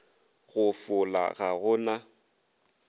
go fola ga go na